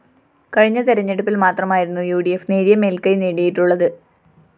കഴിഞ്ഞ തെരഞ്ഞെടുപ്പില്‍ മാത്രമായിരുന്നു ഉ ഡി ഫ്‌ നേരിയ മേല്‍ക്കൈ നേടിയിട്ടുള്ളത്